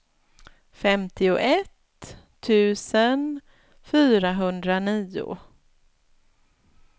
femtioett tusen fyrahundranio